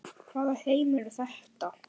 Hvaða heimur er þetta?